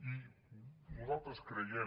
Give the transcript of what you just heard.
i nosaltres creiem